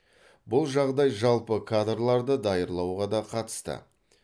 бұл жағдай жалпы кадрларды даярлауға да қатысты